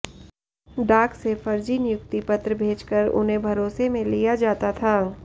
डाक से फर्जी नियुक्ति पत्र भेजकर उन्हें भरोसे में लिया जाता था